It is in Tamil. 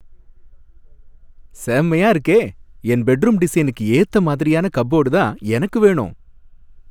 செமயா இருக்கே! என் பெட்ரூம் டிசைனுக்கு ஏத்த மாதிரியான கப்போர்டு தான் எனக்கு வேணும்.